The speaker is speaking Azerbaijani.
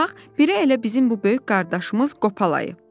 Bax, biri elə bizim bu böyük qardaşımız Qopalı ayı.”